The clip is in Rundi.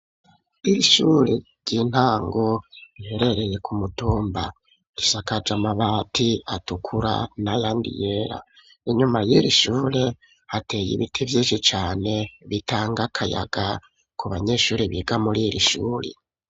Irishure ry'intango riherereye ku mutumba, ishakaje amabati atukura nayandi yera, inyuma y'iri shure hateye ibiti vyinshi cane bitanga akayaga ku banyeshuri biga muri iri shuri.